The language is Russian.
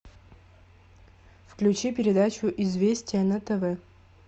включи передачу известия на тв